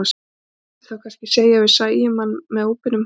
Það mætti þá kannski segja að við sæjum hann með óbeinum hætti.